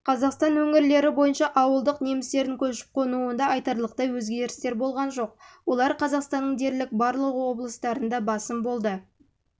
қазақстан өңірлері бойынша ауылдық немістердің көшіп-қонуында айтарлықтай өзгерістер болған жоқ олар қазақстанның дерлік барлық облыстарында басым